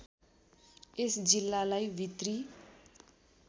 यस जिल्लालाई भित्री